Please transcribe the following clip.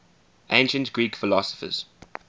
ancient greek philosophers